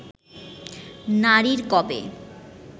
নারীর কবে